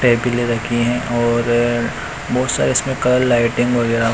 टेबले रखी है और बहोत सारे इसमें कलर लाइटिंग वगैरा--